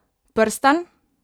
Prstan?